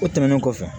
O tɛmɛnen kɔfɛ